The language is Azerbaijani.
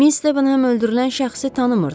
Miss Stavenham öldürülən şəxsi tanımırdı.